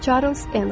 Çarlz Enel.